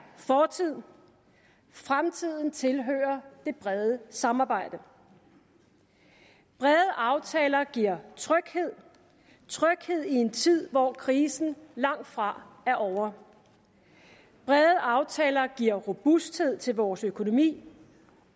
fortid fremtiden tilhører det brede samarbejde brede aftaler giver tryghed i en tid hvor krisen langt fra er ovre og brede aftaler giver robusthed til vores økonomi